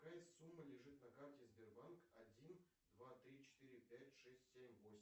какая сумма лежит на карте сбербанк один два три четыре пять шесть семь восемь